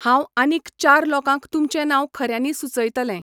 हांव आनीक चार लोकांक तुमचें नांव खऱ्यांनी सूचयतलें.